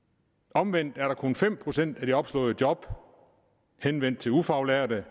omvendt er kun fem procent af de opslåede job henvendt til ufaglærte